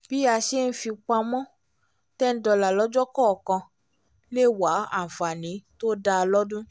bí a ṣe ń fipamọ́ ten dollars lọ́jọ́ kọọkan le wá àǹfààní tó dáa lódún